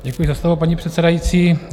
Děkuji za slovo, paní předsedající.